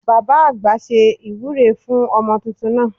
Baba àgbà ṣe ìwúre fún ọmọ tuntun náà